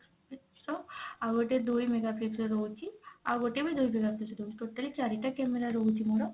ର ଆଉ ଗୋଟେ ଦୁଇ mega pix ର ରହୁଛି ଆଉ ଗୋଟେ ବି ଦୁଇ ଦୁଇ ଦଉଛି totally ଚାରିଟା camera ରହୁଛି ମୋର